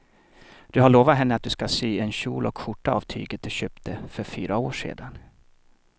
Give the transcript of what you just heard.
Du har lovat henne att du ska sy en kjol och skjorta av tyget du köpte för fyra år sedan.